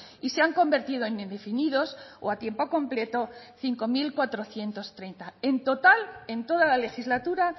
y se han convertido en indefinidos o a tiempo completo cinco mil cuatrocientos treinta en total en toda la legislatura